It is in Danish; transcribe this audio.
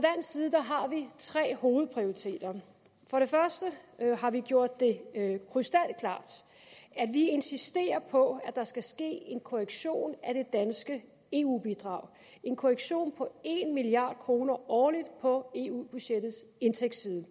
side har vi tre hovedprioriteter for det første har vi gjort det krystalklart at vi insisterer på at der skal ske en korrektion af det danske eu bidrag en korrektion på en milliard kroner årligt på eu budgettets indtægtsside